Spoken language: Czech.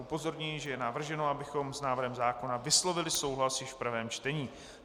Upozorňuji, že je navrženo, abychom s návrhem zákona vyslovili souhlas již v prvém čtení.